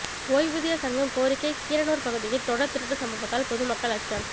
ஓய்வூதியர் சங்கம் கோரிக்கை கீரனூர் பகுதியில் தொடர் திருட்டு சம்பவத்தால் பொதுமக்கள் அச்சம்